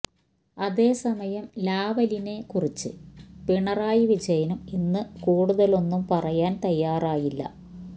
അതേസമയം ലാവലിനെ കുറിച്ച് പിണറായി വിജയനും ഇന്ന് കൂടുതലൊന്നും പറയാൻ തയ്യാറായില്ല